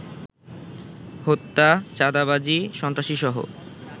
হত্যা, চাঁদাবাজি, সন্ত্রাসীসহ